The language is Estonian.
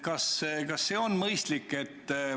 Kas see praegune kord on mõistlik?